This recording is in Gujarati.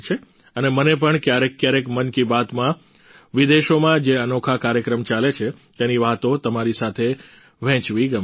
અને મને પણ ક્યારેક ક્યારેક મન કી બાતમાં વિદેશોમાં જે અનોખા કાર્યક્રમ ચાલે છે તેની વાતો તમારી સાથે વહેંચલી ગમે છે